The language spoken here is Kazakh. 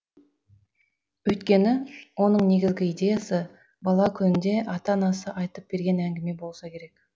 өйткені оның негізгі идеясы бала күнінде ата анасы айтып берген әңгіме болса керек